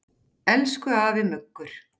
Elsku afi Muggur.